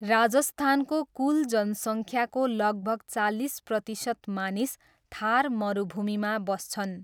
राजस्थानको कुल जनसङख्याको लगभग चालिस प्रतिशत मानिस थार मरुभूमिमा बस्छन्।